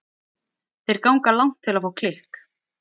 Þeir ganga langt til að fá klikk.